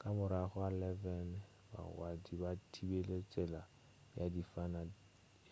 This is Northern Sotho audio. ka morago ga 11:00 bagwanti ba thibile tsela